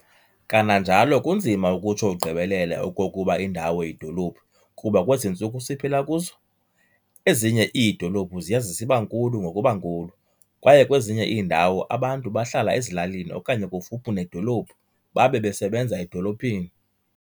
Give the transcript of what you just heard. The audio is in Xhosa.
Kananjalo kunzima ukutsho ugqibelele okokuba indawo yidolophu kuba kwezi ntsuku siphila kuzo, ezinye iidolophu ziya zisibankulu ngokuba nkulu, kwaye kwezinye iindawo abantu bahlala ezilalini okanye kufuphi nedolophu babe besebenza edolophini.